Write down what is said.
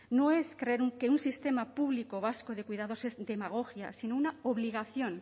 no es que un sistema público vasco de cuidados es demagogia sino una obligación